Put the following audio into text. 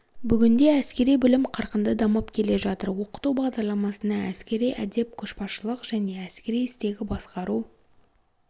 бүгінде әскери білім қарқынды дамып келе жатыр оқыту бағдарламасына әскери әдеп көшбасшылық және әскери істегі басқару